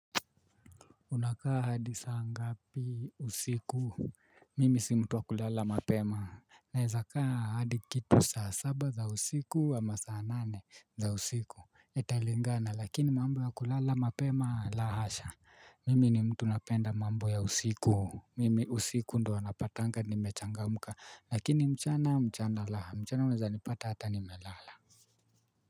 Unakaa hadi saa ngapi usiku mimi si mtu wa kulala mapema naeza kaa hadi kitu saa saba za usiku ama saa nane za usiku italingana lakini mambo ya kulala mapema la hasha mimi ni mtu napenda mambo ya usiku mimi usiku ndo napatanga ni mechangamka lakini mchana, mchana la mchana unaeza nipata hata nimelala.